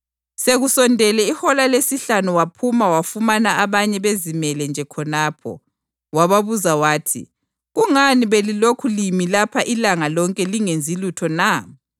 Sekusondele ihola lesihlanu waphuma wafumana abanye bezimele nje khonapho. Wababuza wathi, ‘Kungani belilokhu limi lapha ilanga lonke lingenzi lutho na?’